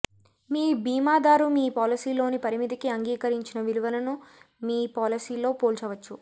మీ భీమాదారు మీ పాలసీలోని పరిమితికి అంగీకరించిన విలువను మీ పాలసీలో పోల్చవచ్చు